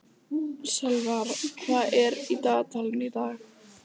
Sölvar, hvað er í dagatalinu í dag?